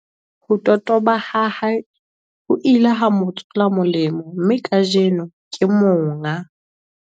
Ho totoba ha hae ho ile ha mo tswela molemo mme kajeno, ke monga